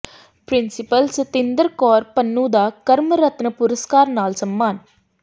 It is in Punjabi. ਪਿ੍ੰਸੀਪਲ ਸਤਿੰਦਰ ਕੌਰ ਪੰਨੂੰ ਦਾ ਕਰਮ ਰਤਨ ਪੁਰਸਕਾਰ ਨਾਲ ਸਨਮਾਨ